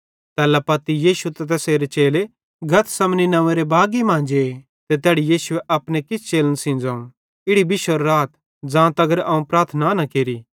तैल्ला पत्ती यीशु ते तैसेरे चेले गतसमनी नंव्वेरे एक्की बागी मां जे ते तैड़ी यीशुए अपने किछ चेलन सेइं ज़ोवं इड़ी बिश्शोरे राथ ज़ां तगर अवं प्रार्थना न केरि